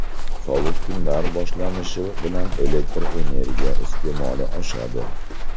Sovuq kunlar boshlanishi bilan elektr energiya iste’moli oshadi.